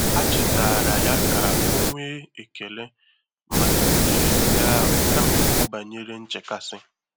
Há chétààrà yá kà 0́ nwèé ékèlé màkà óhérè ndị́ áhụ́ kámà ìkwú bànyèrè nchékàsị́.